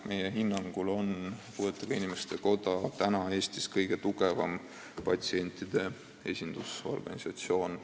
Meie hinnangul on puuetega inimeste koda praegu Eestis oma olemuselt kõige tugevam patsientide esindusorganisatsioon.